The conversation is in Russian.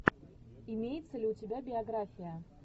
имеется ли у тебя биография